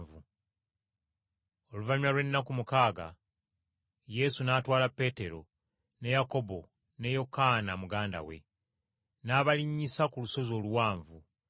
Oluvannyuma lw’ennaku mukaaga Yesu n’atwala Peetero, ne Yakobo ne Yokaana muganda we, n’abalinnyisa ku lusozi oluwanvu.